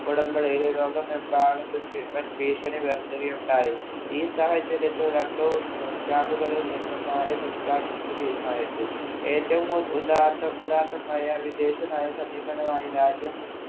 ഉടമ്പടിയില്‍ ലോകമെമ്പാടും വന്‍ഭീഷണി ഉയർത്തുകയുണ്ടായി. ഈ സാഹചര്യത്തിൽ രണ്ടു camp ഉകളിൽ നിന്നും മാറി നിൽക്കാൻ ഇന്ത്യ തീരുമാനിച്ചു. ഏറ്റവും ഉദാത്ത ഉദാത്തമായ വിദേശനയ സമീപനമായി രാജ്യം